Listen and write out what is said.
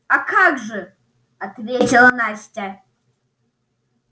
а как же ответила настя